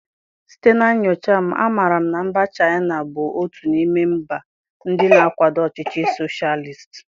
Site na nyocha m, amaara m na mba Chaịna bụ otu n'ime mba ndị na-akwado ọchịchị soshalist